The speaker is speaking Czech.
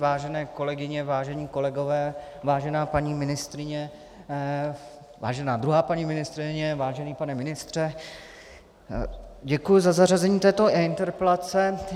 Vážené kolegyně, vážení kolegové, vážená paní ministryně, vážená druhá paní ministryně, vážený pane ministře, děkuji za zařazení této interpelace.